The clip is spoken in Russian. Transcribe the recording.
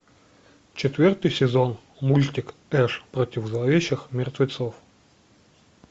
четвертый сезон мультик эш против зловещих мертвецов